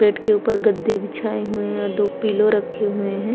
Bed के ऊपर गद्दे बिछाए हुए हैं और दो पिलो रखे हुए हैं।